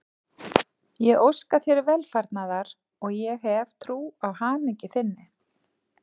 Ég óska þér velfarnaðar og ég hef trú á hamingju þinni.